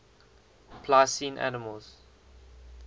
pliocene mammals